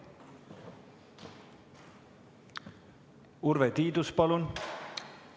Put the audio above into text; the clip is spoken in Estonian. Urve Tiidus, palun!